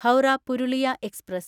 Howrah Purulia express